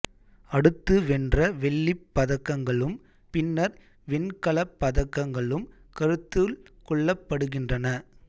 அடுத்து வென்ற வெள்ளிப் பதக்கங்களும் பின்னர் வெண்கலப் பதக்கங்களும் கருத்துள் கொள்ளப்படுகின்றன